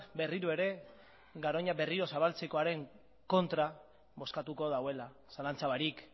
berriro ere garoña berriro zabaltzekoaren kontra bozkatuko duela zalantza barik